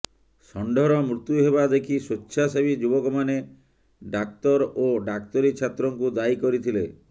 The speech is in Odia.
ଷଣ୍ଢର ମ଼ତ୍ୟୁ ହେବା ଦେଖି ସ୍ୱେଚ୍ଛାସେବୀ ଯୁବକମାନେ ଡାକ୍ତର ଓ ଡାକ୍ତରୀ ଛାତ୍ରଙ୍କୁ ଦାୟୀ କରିଥିଲେ